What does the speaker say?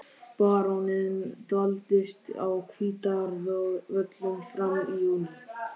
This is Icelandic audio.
Baróninn dvaldist á Hvítárvöllum fram í júní.